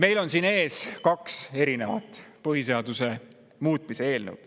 Meil on siin ees kaks erinevat põhiseaduse muutmise eelnõu.